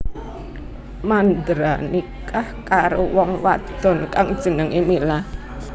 Mandra nikah karo wong wadon kang jenengé Mila